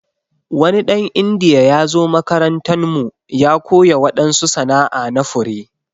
Wani dan indiya ya zo makarantan mu ya koya wadansu sana'a na fure.